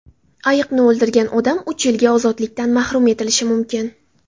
Ayiqni o‘ldirgan odam uch yilga ozodlikdan mahrum etilishi mumkin.